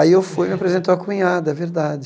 Aí eu fui, me apresentou a cunhada, é verdade.